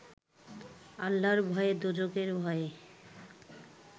আল্লাহর ভয়ে, দোযখের ভয়ে